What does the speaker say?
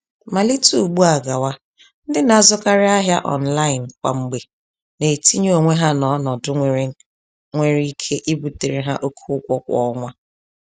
Malite ùgbúà gawa, ndị na-azụkarị ahịa online kwa mgbe na-etinye onwe ha n'ọnọdụ nwere nwere ike ibutere ha oke ụgwọ kwa ọnwa.